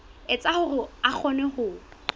etsa hore a kgone ho